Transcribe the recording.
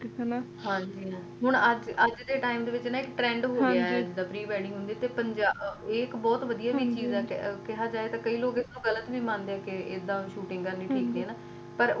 ਹਾਂਜੀ ਅੱਜ ਦੇ time ਤੇ trend ਹੋਗਆ ਏ ਜਿੱਦਾ pre wedding ਹੁੰਦੀ ਏ ਤੇ ਇਹ ਇਕ ਬਹੁਤ ਵਧੀਆ ਚੀਜ ਏ ਤੇ ਕਈ ਲੋਕ ਇਸਨੂੰ ਗਲਤ ਵੀ ਮੰਨਦੇ ਨੇ ਏਡਾ shooting ਨਹੀਂ ਠੀਕ